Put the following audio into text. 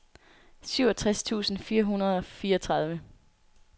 syvogtres tusind fire hundrede og fireogtredive